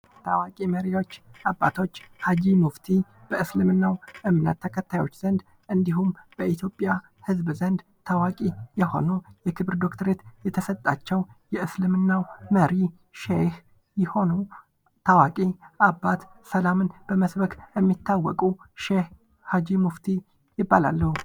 ታዋቂ መሪዎች አባቶች ሼህ ሀጂ ሙፍቲ በእስልምናው እምነት ተከታዮች ዘንድ እንዲሁም በኢትዮጵያ ህዝብ ዘንድ ታዋቂ የሆኑ የክብር ዶክተር የተሰጣቸው የእስልምና መሪ ሸህ የሆኑ ታዋቂ አባት ሰላምን በመስበክ የሚታወቁ ሼህ ሀጂ ሙፍቲ ይባላሉ።